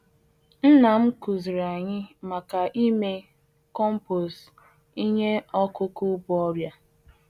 Nna m kuziiri anyị ka anyị hara iji ihe ọbụla si n'osisi bu nje mee nri akụkụ ubi compoostu.